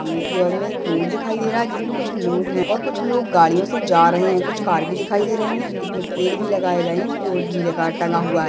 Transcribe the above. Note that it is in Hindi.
सामने की और मे एक रोड दिखाई दे रहा है जिसमे कुछ लोग है और कुछ लोग गाड़ियो से जा रहे है कुछ कार भी दिखाई दे रहे है इसमे पेड़ भी लगाए गए है बोर्ड भी लगा टंगा हुआ है।